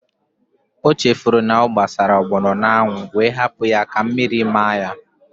O chefuru na ọ gbasara ọgbọnọ n'anwụ wee hapụ ya ka mmiri maa ya